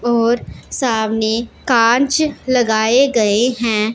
और सामने कांच लगाए गए हैं।